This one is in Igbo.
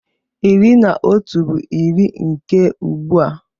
Iri na otu bụ iri nke ugbua.